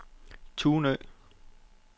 Tunø